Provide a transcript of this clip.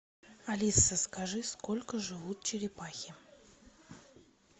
алиса скажи сколько живут черепахи